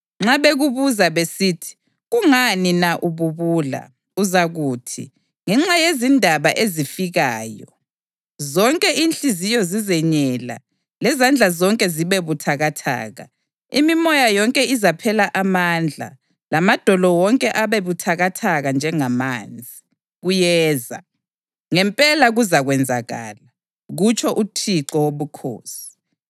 Nxa bekubuza besithi, ‘Kungani na ububula?’ uzakuthi, ‘Ngenxa yezindaba ezifikayo. Zonke inhliziyo zizenyela lezandla zonke zibe buthakathaka, imimoya yonke izaphela amandla lamadolo wonke abe buthakathaka njengamanzi.’ Kuyeza! Ngempela kuzakwenzakala, kutsho uThixo Wobukhosi.”